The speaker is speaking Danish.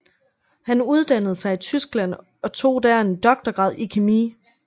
Han uddannede sig i Tyskland og tog der en doktorgrad i kemi